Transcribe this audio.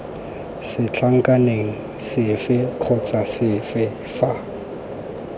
setlankaneng sefe kgotsa sefe fa